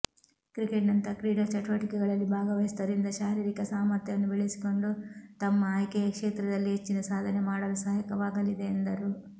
ಕ್ರಿಕೆಟ್ನಂತಹ ಕ್ರೀಡಾ ಚಟುವಟಿಕೆಗಳಲ್ಲಿ ಭಾಗವಹಿಸುವುದರಿಂದ ಶಾರೀರಿಕ ಸಾಮರ್ಥ್ಯವನ್ನು ಬೆಳೆಸಿಕೊಂಡು ತಮ್ಮ ಆಯ್ಕೆಯ ಕ್ಷೇತ್ರದಲ್ಲಿ ಹೆಚ್ಚಿನ ಸಾಧನೆ ಮಾಡಲು ಸಹಾಯಕವಾಗಲಿದೆ ಎಂದರು